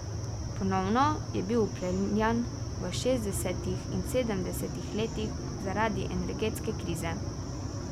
Ponovno je bil vpeljan v šestdesetih in sedemdesetih letih zaradi energetske krize.